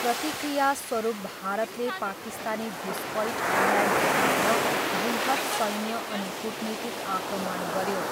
प्रतिक्रियास्वरूप भारतले पाकिस्तानी घुसपैठहरूलाई धपाउन बृहत् सैन्य अनि कूटनीतिक आक्रमण गऱ्यो।